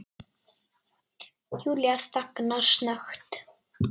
Júlía þagnar snöggt.